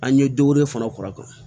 An ye fana kɔr'a kan